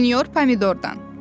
Sinyor Pomidordan.